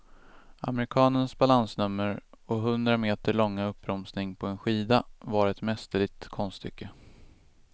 Amerikanens balansnummer, och hundra meter långa uppbromsning på en skida, var ett mästerligt konststycke.